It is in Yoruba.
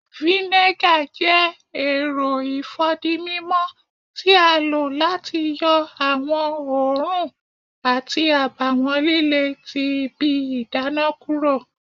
Vinegar jẹ èrò ifódímímó ti a lo láti yọ awọn oòrùn àti àbáwọn lílé tí ibí ìdána kúrò